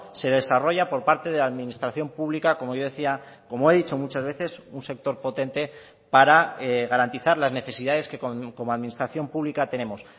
se desarrolla por parte de la administración pública como yo decía como he dicho muchas veces un sector potente para garantizar las necesidades que como administración pública tenemos